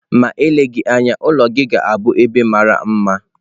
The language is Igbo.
Ma eleghị anya, ụlọ gị ga-abụ ebe mara mma